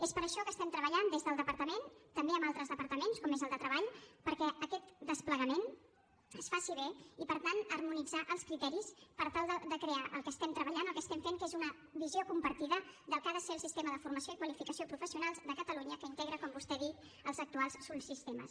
és per això que estem treballant des del departament també amb altres departaments com és el de treball perquè aquest desplegament es faci bé i per tant harmonitzar els criteris per tal de crear el que estem treballant el que estem fent que és una visió compartida del que ha de ser el sistema de formació i qualificació professionals de catalunya que integra com vostè ha dit els actuals subsistemes